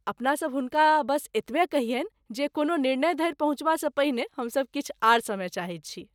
अपनासभ हुनका बस एतबे कहियनि जे कोनो निर्णय धरि पहुँचबासँ पहिने हम सभ किछु आर समय चाहैत छी।